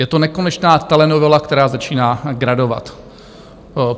Je to nekonečná telenovela, která začíná gradovat.